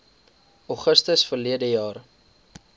augustus verlede jaar